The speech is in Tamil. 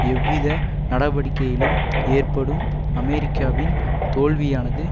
எவ்வித நடவடிக்கையிலும் ஏற்படும் அமெரிக்காவின் தோல்வியானது